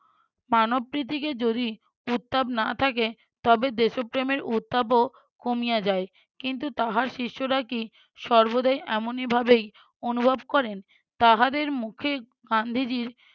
মানবপ্রীতিকে যদি উত্তাপ না থাকে তবে দেশপ্রেমের উত্তাপও কমিয়া যায় কিন্তু তাহার শিষ্যরা কি সর্বদাই এমনিভাবেই অনুভব করেন? তাহাদের মুখে গান্ধীজীর